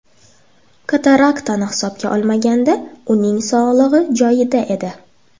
Kataraktani hisobga olmaganda, uning sog‘lig‘i joyida edi.